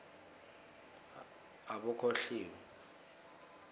abokholiwe